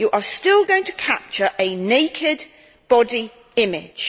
You are still going to capture a naked body image.